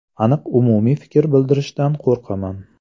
Aniq umumiy fikr bildirishdan qo‘rqaman.